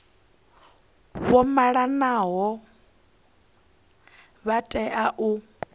vha malanaho vha tea u